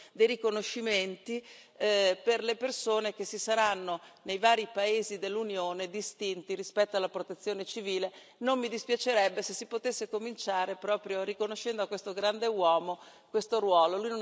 dei riconoscimenti per le persone che si saranno, nei vari paesi dell'Unione, distinti rispetto alla protezione civile, non mi dispiacerebbe se si potesse cominciare proprio riconoscendo a questo grande uomo questo ruolo.